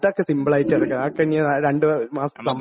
അതൊക്കെ സിംപിൾ ആയിട്ടടയ്ക്കാം, അതൊക്കെ ഇനി രണ്ട് മാസം..